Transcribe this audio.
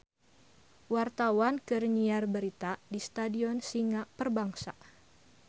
Wartawan keur nyiar berita di Stadion Singa Perbangsa